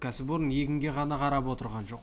кәсіпорын егінге ғана қарап отырған жоқ